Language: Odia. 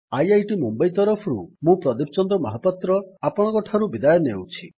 ଆଇଆଇଟି ମୁମ୍ୱଇ ତରଫରୁ ମୁଁ ପ୍ରଦୀପ ଚନ୍ଦ୍ର ମହାପାତ୍ର ଆପଣଙ୍କଠାରୁ ବିଦାୟ ନେଉଛି